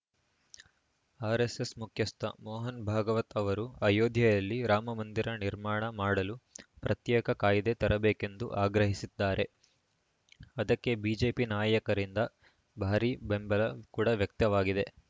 RSS ಮುಖ್ಯಸ್ಥ ಮೋಹನ ಭಾಗವತ್‌ ಅವರು ಅಯೋಧ್ಯೆಯಲ್ಲಿ ರಾಮ ಮಂದಿರ ನಿರ್ಮಾಣ ಮಾಡಲು ಪ್ರತ್ಯೇಕ ಕಾಯ್ದೆ ತರಬೇಕೆಂದು ಆಗ್ರಹಿಸಿದ್ದಾರೆ ಅದಕ್ಕೆ ಬಿಜೆಪಿ ನಾಯಕರಿಂದ ಭಾರಿ ಬೆಂಬಲ ಕೂಡ ವ್ಯಕ್ತವಾಗಿದೆ